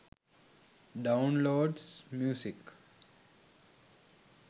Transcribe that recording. downloads music